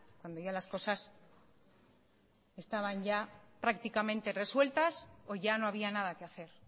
cuando ya las cosas estaban ya prácticamente resueltas o ya no había nada que hacer